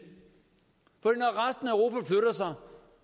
for når